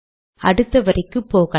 அடுத்த வரிக்கு போகலாம்